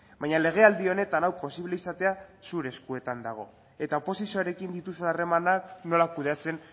baina legealdi honetan hau posible izatea zure eskuetan dago eta oposizioarekin dituzun harremanak nola kudeatzen